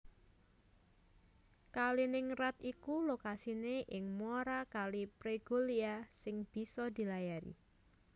Kaliningrad iku lokasiné ing muara Kali Pregolya sing bisa dilayari